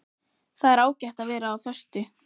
Það er ágætt að vera á föstu.